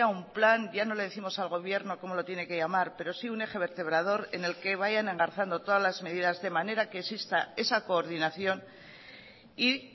un plan ya no le décimos al gobierno cómo lo tiene que llamar pero sí un eje vertebrador en el que vayan engarzando todas las medidas de manera que exista esa coordinación y